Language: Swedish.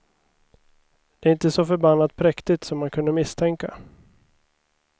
Det är inte så förbannat präktigt som man kunde misstänka.